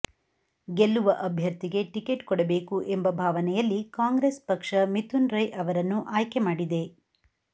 ಗೆಲ್ಲುವ ಅಭ್ಯರ್ಥಿಗೆ ಟಿಕೆಟ್ ಕೊಡಬೇಕು ಎಂಬ ಭಾವನೆಯಲ್ಲಿ ಕಾಂಗ್ರೆಸ್ ಪಕ್ಷ ಮಿಥುನ್ ರೈ ಅವರನ್ನು ಆಯ್ಕೆ ಮಾಡಿದೆ